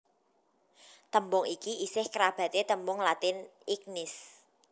Tembung iki isih kerabaté tembung Latin ignis